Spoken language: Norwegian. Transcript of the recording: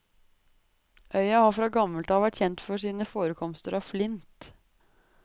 Øya har fra gammelt av vært kjent for sine forekomster av flint.